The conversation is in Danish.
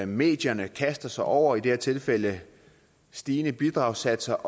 medierne kaster sig over i det her tilfælde stigende bidragssatser